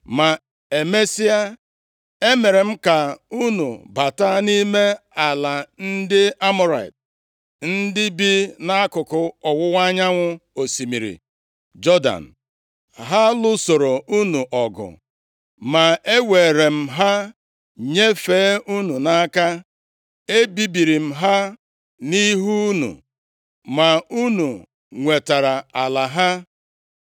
“ ‘Ma emesịa, emere m ka unu bata nʼime ala ndị Amọrait, ndị bi nʼakụkụ ọwụwa anyanwụ osimiri Jọdan. Ha lụsoro unu ọgụ, ma eweere m ha nyefee unu nʼaka. E bibiri m ha nʼihu unu, ma unu nwetara ala ha.